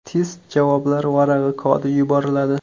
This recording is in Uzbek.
Test javoblar varag‘i kodi yuboriladi.